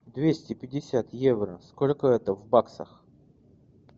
двести пятьдесят евро сколько это в баксах